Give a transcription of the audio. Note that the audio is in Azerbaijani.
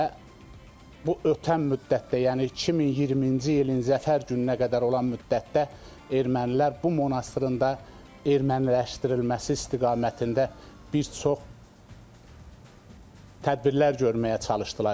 Və bu ötən müddətdə, yəni 2020-ci ilin zəfər gününə qədər olan müddətdə Ermənilər bu monastırında erməniləşdirilməsi istiqamətində bir çox tədbirlər görməyə çalışdılar.